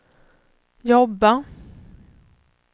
jobba